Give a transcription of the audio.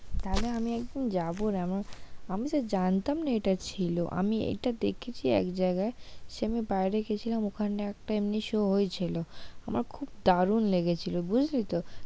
তাহলে আমি একদিন যাবো রে, আমি তো জানতাম না এটা ছিল আমি এটা দেখেছি এক জায়গায় সে বার বাইরে গেছিলাম ওখানটায় একটা এমনি show হয়েছিল, খুব দারুন লেগেছিল বুঝলি তো,